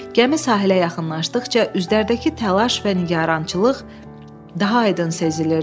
Gəmi sahilə yaxınlaşdıqca üzlərdəki təlaş və nigarançılıq daha aydın sezilirdi.